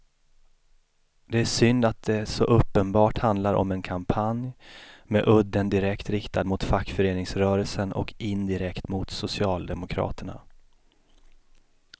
Det är synd att det så uppenbart handlar om en kampanj med udden direkt riktad mot fackföreningsrörelsen och indirekt mot socialdemokraterna.